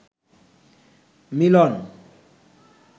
মিলন